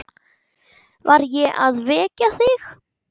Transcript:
Var ég að vekja þig?